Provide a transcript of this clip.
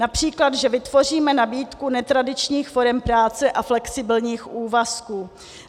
Například že vytvoříme nabídku netradičních forem práce a flexibilních úvazků.